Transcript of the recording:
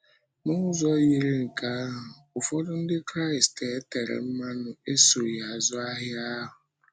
N’ụzọ yiri nke ahụ, ụfọdụ Ndị Kraịst e tere mmanụ esoghị “azụ ahịa” ahụ.